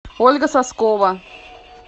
ольга соскова